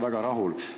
Suur tänu!